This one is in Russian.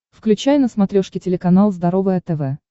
включай на смотрешке телеканал здоровое тв